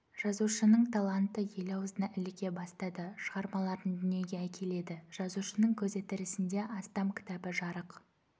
жазушының таланты ел аузына іліге бастады шығармаларын дүниеге әкеледі жазушының көзі тірісінде астам кітабы жарық